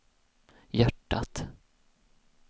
hjärtat